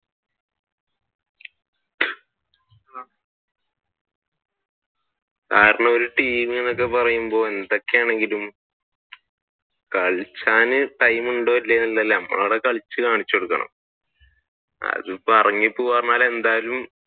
കാരണം ഒരു ടീം എന്നൊക്കെ പറയുമ്പോൾ എന്തൊക്കെയാണെങ്കിലും കളിച്ചാൻ time ഉണ്ടോ ഇല്ലയോ എന്നല്ല നമ്മൾ അവിടെ കളിച്ചു കാണിച്ചു കൊടുക്കണം. അതിപ്പോ എന്തായാലും